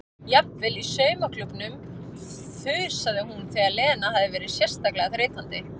Jafnvel í saumaklúbbnum þusaði hún þegar Lena hafði verið sérstaklega þreytandi.